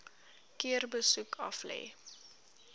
keer besoek aflê